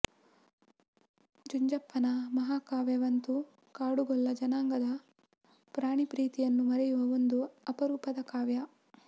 ಜುಂಜಪ್ಪನ ಮಹಾ ಕಾವ್ಯವಂತೂ ಕಾಡುಗೊಲ್ಲ ಜನಾಂಗದ ಪ್ರಾಣಿ ಪ್ರೀತಿಯನ್ನು ಮೆರೆಯುವ ಒಂದು ಅಪರೂಪದ ಕಾವ್ಯ